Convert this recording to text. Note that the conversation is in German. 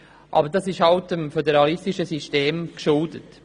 Dies ist halt dem föderalistischen System geschuldet.